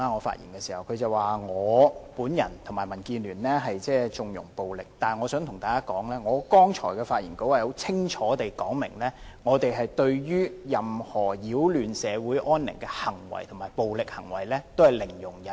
他說我和民建聯縱容暴力，但我想對大家說，我剛才的發言稿是清楚說明，我們對於任何擾亂社會安寧的行為及暴力行為，都是零容忍的。